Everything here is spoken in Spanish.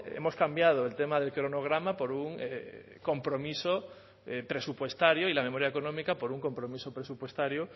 hemos cambiado el tema del cronograma por un compromiso presupuestario y la memoria económica por un compromiso presupuestario